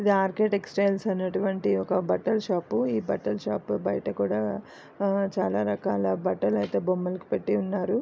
ఇది R K textiles అనేటివాటిది ఒక బట్టల షాప్ ఈ బట్టల షాప్ లో బయట కూడా చాలా రకలా బట్టలు ఐతే బొమ్మలకు పెట్టిఉన్నారు.